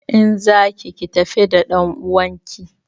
In za ki ki tafi da ɗanuwanki!